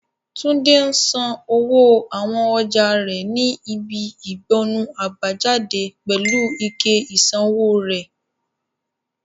Tunde ń sanwó àwọn ọjà rẹ̀ ní ibi ìgbọnnu àbájáde pẹ̀lú ike ìsanwó rẹ̀.